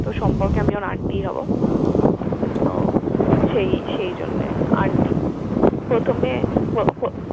তো সম্পর্কে আমি ওর aunty ই হবো। তো সেই সেইজন্য aunty । প্রথমে প পো~